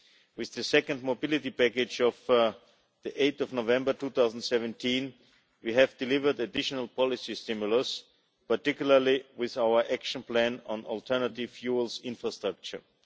With the second Mobility Package, of 8 November 2017, we delivered an additional policy stimulus, particularly with our Action Plan on alternative fuels infrastructure.